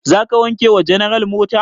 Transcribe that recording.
Za ka wanke wa general mota?